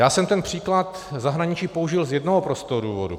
Já jsem ten příklad zahraničí použil z jednoho prostého důvodu.